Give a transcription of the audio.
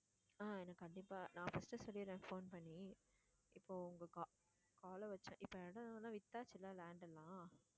ஆஹ் கண்டிப்பா நான் first சொல்லிடுறேன் phone பண்ணி இப்போ உங்க ca~call அ வச்ச இப்போ இடமெல்லாம் வித்தாச்சுல்ல land எல்லாம்